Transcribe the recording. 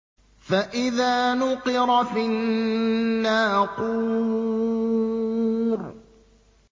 فَإِذَا نُقِرَ فِي النَّاقُورِ